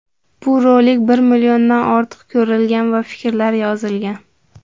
Bu rolik bir milliondan ortiq ko‘rilgan va fikrlar yozilgan.